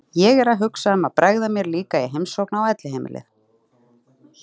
Ég er að hugsa um að bregða mér líka í heimsókn á elliheimilið.